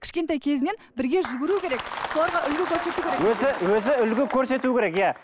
кішкентай кезінен бірге жүгіру керек соларға үлгі көрсету керек өзі өзі үлгі көрсету керек иә